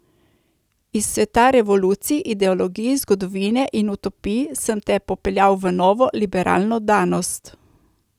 Iz sveta revolucij, ideologij, zgodovine in utopij sem te popeljal v Novo liberalno danost.